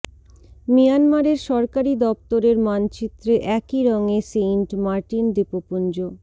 মিয়ানমারের সরকারি দপ্তরের মানচিত্রে একই রঙে সেইন্ট মার্টিন দ্বীপপুঞ্জ